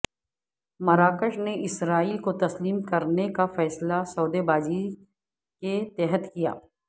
مراکش نے اسرائیل کو تسلیم کرنے کا فیصلہ سودے بازی کے تحت کیا